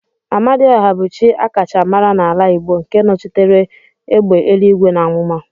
Amadiọha bụ chi akacha mara n'ala Igbo nke nochitere egbe eluigwe na amụma.